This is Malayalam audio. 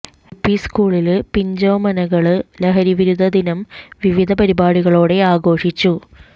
എല് പി സ്കൂളില് പിഞ്ചോമനകള് ലഹരിവിരുദ്ധ ദിനം വിവിധ പരിപാടികളോടെ ആഘോഷിച്ചു